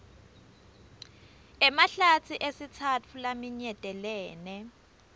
emahlatsi esitsatfu laminyetelene